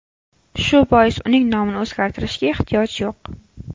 Shu bois uning nomini o‘zgartirishga ehtiyoj yo‘q.